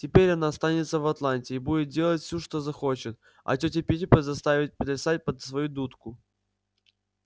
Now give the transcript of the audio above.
теперь она останется в атланте и будет делать все что захочет а тётю питтипэт заставит плясать под свою дудку